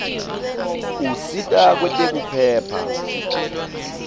usita kwetekuphepha